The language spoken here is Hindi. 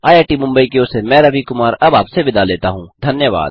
आईआईटी मुंबई की ओर से मैं रवि कुमार अब आपसे विदा लेता हूँ